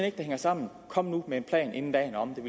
ikke det hænger sammen kom nu med en plan inden dagen er omme det